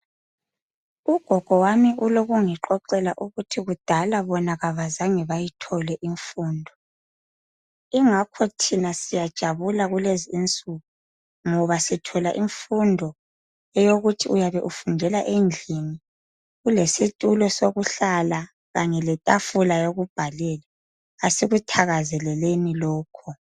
Ugogo wami ulokungixoxela ukuthi kudala bona abazange bayithole imfundo ingakho thina siyajabula kulezinsuku ngoba sithola imfundo eyokuthi uyabe ufundela endlini, ulesitulo sokuhlala kanye letafula yokubhalela. Asikuthakazeleleni lokho.